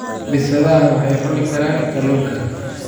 Bisadaha waxay cuni karaan kalluunka.